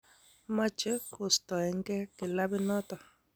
Moche kostoeng'e kilabi noton.